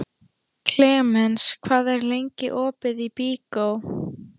Klemens, hvað er lengi opið í Byko?